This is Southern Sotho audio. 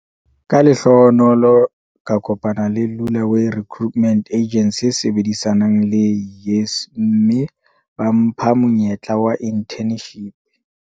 "Ka lehlohonolo ka kopana le Lula way Recruitment Agency e sebedisanang le YES, mme ba mpha monyetla wa inthenshipi."